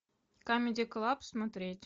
камеди клаб смотреть